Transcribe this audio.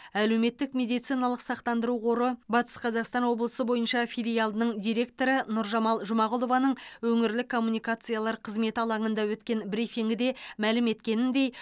әлеуметтік медициналық сақтандыру қоры батыс қазақстан облысы бойынша филиалының директоры нұржамал жұмағұлованың өңірлік коммуникациялар қызметі алаңында өткен брифингіде мәлім еткеніндей